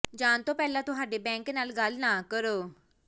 ਜਾਣ ਤੋਂ ਪਹਿਲਾਂ ਤੁਹਾਡੇ ਬੈਂਕ ਨਾਲ ਗੱਲ ਨਾ ਕਰੋ